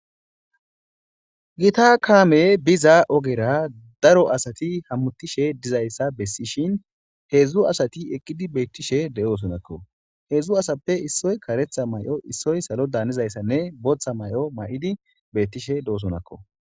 Gita kamey biza ogera daro asat hamutishe dizayisa besishshin hezdzdu asati eqida betishe deosoonakko hezdzdu asatappe issi kareththa mayo issoy ssaalodan hanizayisanne botha mayo mayidi betishe deosoonakko